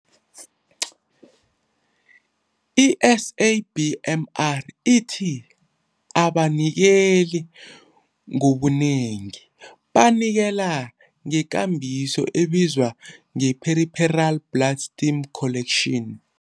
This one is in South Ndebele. I-SABMR ithi abanikeli ngobunengi banikela ngekambiso ebizwa ngeperipheral blood stem collection .